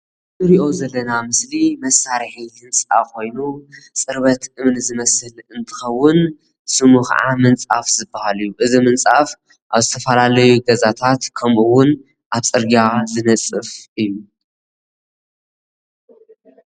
እንሪኦ ዘለና ምስሊ መሳርሒ ህንፃ ኮይኑ ፅርበት እምኒ ዝመስል እንትኸውን ስሙ ከዓ ምንፃፍ ዝብሃል እዩ። እዚ ምንፃፍ አብ ዝተፈላለዩ ገዛታት ከምኡ እውን አብ ፅርግያ ዝነፅፍ እዩ።